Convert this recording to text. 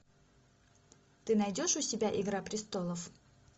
ты найдешь у себя игра престолов